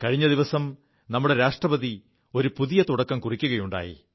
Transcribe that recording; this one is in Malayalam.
കഴിഞ്ഞ ദിവസം നമ്മുടെ രാഷ്ട്രപതി ഒരു പുതിയ തുടക്കം കുറിക്കുകയുണ്ടായി